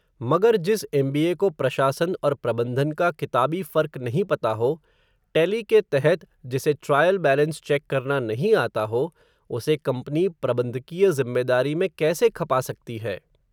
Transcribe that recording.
मगर जिस एमबीए को प्रशासन और प्रबंधन का किताबी फ़र्क नहीं पता हो, टेली के तहत, जिसे ट्रायल बैलेंस चेक करना नहीं आता हो, उसे कम्पनी प्रबंधकीय ज़िम्मेदारी में कैसे खपा सकती है